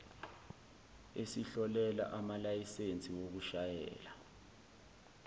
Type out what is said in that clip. esihlolela amalayisensi okushayela